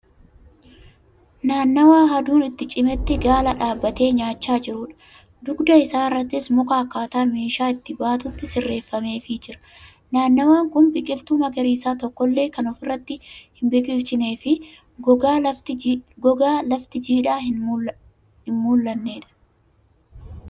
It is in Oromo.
Naannawaa aduun itti cimetti gaala dhaabatee nyaachaa jirudha. Dugda isaarrattis muka akkaataa meeshaa itti baatutti sirreeffameefi jira. Naannawaan kun biqiltuu magariisaa tokkollee kan ofirratti hin biqilchineefi gogaa lafti jiidhaa hin mul'annedha.